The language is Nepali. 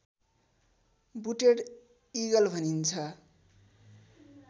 बुटेड इगल भनिन्छ